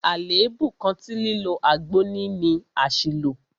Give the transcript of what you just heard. Àlèébú kan tí lílo àgbo ní ni àṣìlò.